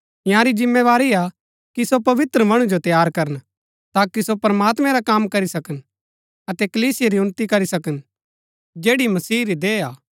इन्यारी जिम्मेवारी हा कि सो पवित्र मणु जो तैयार करन ताकि सो प्रमात्मैं रा कम करी सकन अतै कलीसिया री उन्‍नति करी सकन जैड़ी मसीह री देह हा